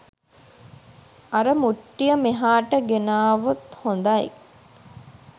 අර මුට්ටිය මෙහාට ගෙනාවොත් හොඳයි'